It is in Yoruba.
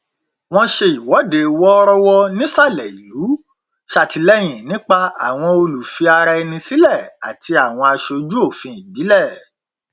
wọn ṣe ìwọdé wọrọwọ nìsalẹ ìlú ṣàtìlẹyìn nípa àwọn olùfira ẹni sílẹ àti àwọn aṣojú òfin ìbílẹ